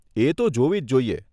એ તો જોવી જ જોઈએ.